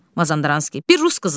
Mazandaranski: Bir rus qızı.